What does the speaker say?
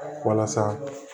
Walasa